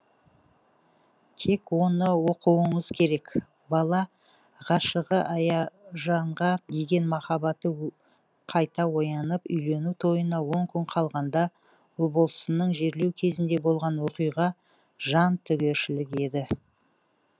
тек оны оқуыңыз керек бала ғашығы аяужанға деген махаббаты қайта оянып үйлену тойына он күн қалғанда ұлболсынның жерлеу кезінде болған оқиға жантүгершілік еді